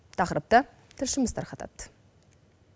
тақырыпты тілшіміз тарқатады